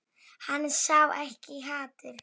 Hann sá ekkert hatur.